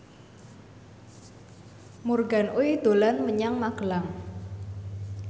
Morgan Oey dolan menyang Magelang